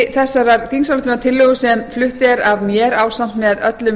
tillögutexti þessarar þingsályktunartillögu sem flutt er af mér ásamt með öllum